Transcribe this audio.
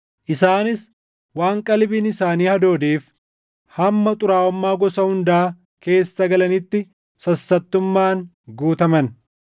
Isaanis waan qalbiin isaanii hadoodeef hamma xuraaʼummaa gosa hundaa keessa galanitti sassattummaan guutaman.